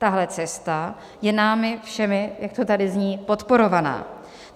Tahle cesta je námi všemi, jak to tady zní, podporovaná.